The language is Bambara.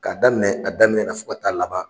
K'a daminɛ a daminɛ na fo ka taa laban.